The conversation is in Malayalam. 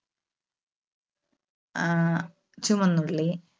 ആഹ് ചുമന്നുള്ളി,